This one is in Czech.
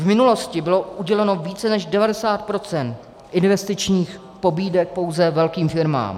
V minulosti bylo uděleno více než 90 % investičních pobídek pouze velkým firmám.